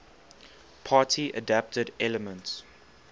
party adapted elements